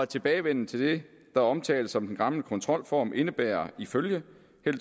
tilbagevenden til det der omtales som den gamle kontrolform indebærer ifølge